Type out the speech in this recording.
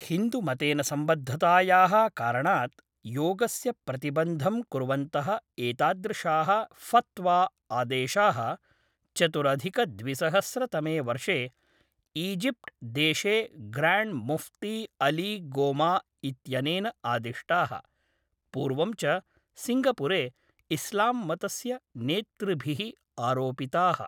हिन्दुमतेन सम्बद्धतायाः कारणात् योगस्य प्रतिबन्धं कुर्वन्तः एतादृशाः फ़त्वा आदेशाः चतुरधिकद्विसहस्रतमे वर्षे ईजिप्ट् देशे ग्राण्ड् मुफ्ती अली गोमा इत्यनेन आदिष्टाः, पूर्वं च सिङ्गपुरे इस्लाम्मतस्य नेतृभिः आरोपिताः।